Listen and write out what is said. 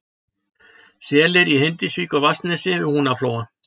Selir í Hindisvík á Vatnsnesi við Húnaflóa